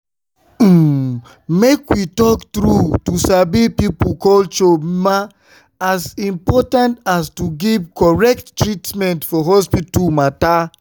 umm make we talk true to sabi people culture na as important as to give correct treatment for hospital matter.